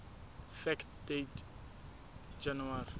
fact date january